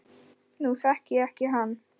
Nú þekki ég ekki hann